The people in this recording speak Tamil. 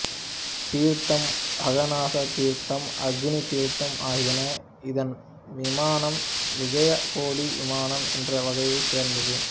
தீர்த்தம் அகநாச தீர்த்தம் அக்னி தீர்த்தம் ஆகியன இதன் விமானம் விஜயகோடி விமானம் என்ற வகையைச் சேர்ந்தது